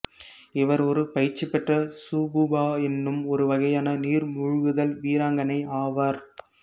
இவர் ஒரு பயிற்சிபெற்ற சுகூபா என்னும் ஒரு வகையான நீர் மூழ்குதல் வீராங்கனை ஆவார்